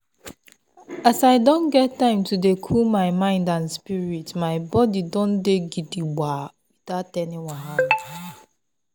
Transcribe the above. as i don get time to dey cool my mind and spirit my body don dey gidigba without any wahala.